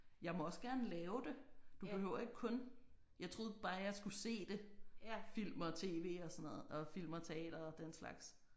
Jeg må også gerne lave det. Du behøver ikke kun jeg troede bare jeg skulle se det film og tv og sådan noget og film og teater og den slags